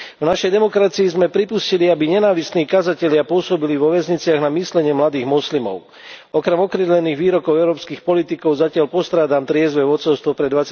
V našej demokracii sme pripustili, aby nenávistní kazatelia pôsobili vo väzniciach na myslenie mladých moslimov. Okrem okrídlených výrokov európskych politikov zatiaľ postrádam triezve vodcovstvo pre